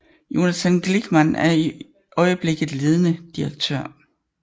Jonathan Glickman er i øjeblikket ledende direktør